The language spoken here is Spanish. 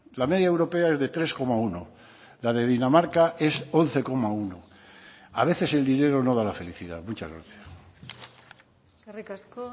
la media europea es de tres coma uno la de dinamarca es once coma uno a veces el dinero no da la felicidad muchas gracias eskerrik asko